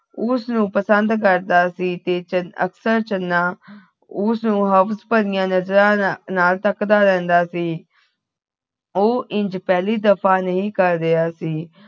ਉਸਨੂੰ ਪਸੰਦ ਕਰਦਾ ਸੀ ਤੇ ਅਕਸਰ ਚੰਨਾ ਉਸਨੂੰ ਹਵਸ ਭਰਿਆ ਨਜ਼ਰਾਂ ਨਾਲ ਧੱਕਦਾ ਰਹਿੰਦਾ ਸੀ ਉਹ ਇੰਝ ਪਹਿਲੀ ਦਫ਼ਾ ਨਹੀਂ ਕਰ ਰਿਹਾ ਸੀ